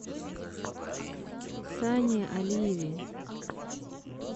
сане алиеве